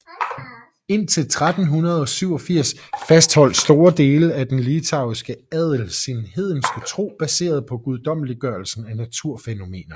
Indtil 1387 fastholdt store dele af den litauiske adel sin hedenske tro baseret på guddommeliggørelse af naturfænomener